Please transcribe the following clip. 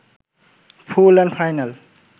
full and final